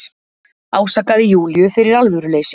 Ásakaði Júlíu fyrir alvöruleysi.